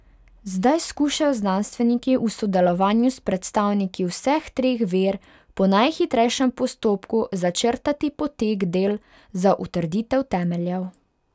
Zdaj skušajo znanstveniki v sodelovanju s predstavniki vseh treh ver po najhitrejšem postopku začrtati potek del za utrditev temeljev.